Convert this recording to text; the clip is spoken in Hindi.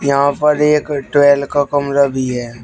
यहां पर एक का कमरा भी है।